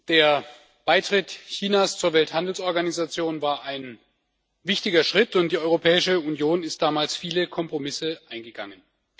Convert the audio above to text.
Der Beitritt Chinas zur Welthandelsorganisation war ein wichtiger Schritt, und die Europäische Union ist damals viele Kompromisse eingegangen.